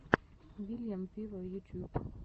вильям виво ютьюб